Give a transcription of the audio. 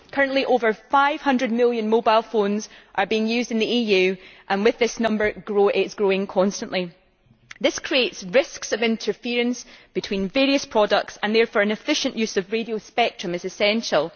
Currently over 500 million mobile phones are being used in the EU, and this number is growing constantly. This creates risks of interference between various products, and therefore an efficient use of radio spectrum is essential.